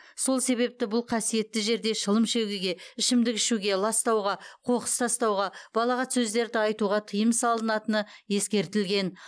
сол себепті бұл қасиетті жерде шылым шегуге ішімдік ішуге ластауға қоқыс тастауға балағат сөздерді айтуға тыйым салынатыны ескертілген